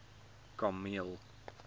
kameel